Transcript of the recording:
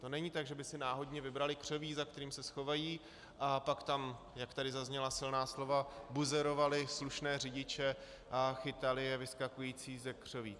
To není tak, že by si náhodně vybrali křoví, za kterým se schovají, a pak tam, jak tady zazněla silná slova, buzerovali slušné řidiče a chytali je vyskakujíce ze křoví.